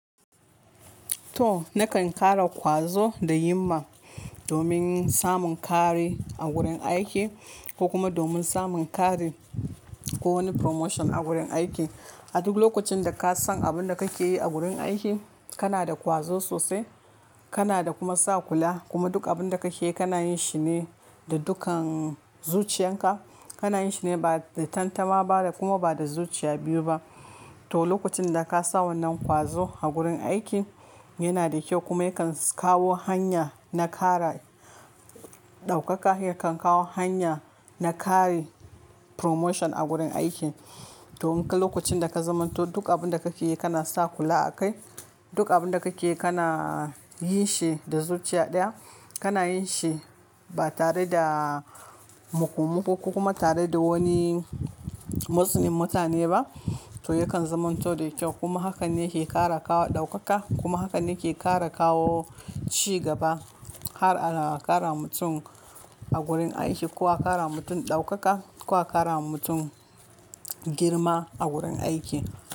To nakan kara ƙwazo da himma domin samun ƙari a gurin aiki ko kuma domin samun ƙari ko wani promotion a gurin aiki. A duk lokacin da ka san abin da kake yi a gurin aiki, kana da ƙwazo sosai, kana da kuma sa kula. Kuma duk abin da kake yi kana yin shi ne da dukkan zuciyarka. Kana yin shi ne ba da tantama ba da kuma ba da zuciya biyu ba. To, lokacin da ka sa wannan ƙwazo a gurin aiki yana da kyau kuma yakan kawo hanya na ƙara ɗaukaka. Yakan kawo hanya na ƙari promotion a gurin aiki. To, in ka lokacin da ka zamanto duk abin da kake yi kana sa kula akai. Duk abin da kake yi kana yin shi da zuciya ɗaya. Kana yin shi ba tare da mukumuku kuma tare da wani motsin mutane ba. To, yakan zamanto da kyau kuma haka ne yake ƙara kawo ɗaukaka kuma haka ne ke ƙara kawo ci gaba. Har a ƙara mutum a gurin aiki ko a ƙara mutum ɗaukaka ko a ƙara mutum girma a gurin aiki.